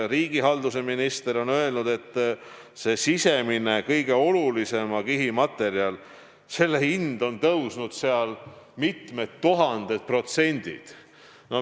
Riigihalduse minister on öelnud, et selle sisemise, kõige olulisema kihi materjali hind on tõusnud mitmeid tuhandeid protsente.